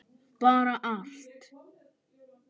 Bara allt.